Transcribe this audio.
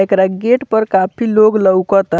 एकरा गेट पर काफी लोग लौउकता।